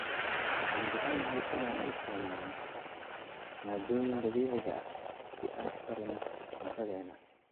Waxaan jecelnahay inaan isticmaalno maaddooyinka dabiiciga ah si aan u karinno cuntadeena.